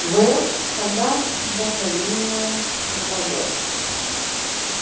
в когда вдохновение нападёт